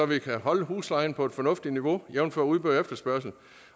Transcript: vi kan holde huslejen på et fornuftigt niveau jævnfør udbud